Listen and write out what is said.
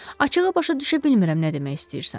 Açıqı başa düşə bilmirəm nə demək istəyirsən.